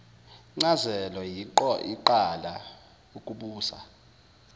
ncazelo iyoqala ukubusa